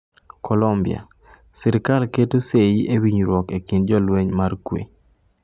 Kolombia: Sirikal keto sei e winjruok e kind jolweny mar kwe